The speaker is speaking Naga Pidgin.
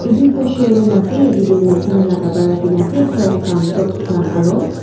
etu ekta showroom ase yate tu maiki khan lah kapra rakhi ke na ase frock khan tops khan aru--